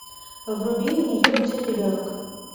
вруби у нее будет ребенок